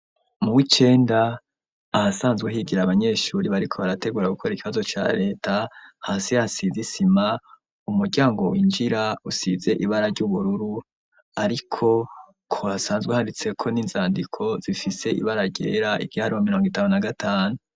Mu wicenda, ahasanzwe higira abanyeshuri bariko barategura gukora ikibazo ca Reta, hasi hasize isima, umuryango winjira usize ibara ry'ubururu, ariko, ko hasanzwe handitseko n'inzandiko zifise ibara ryera igiharuro mirongo itanu na gatanu.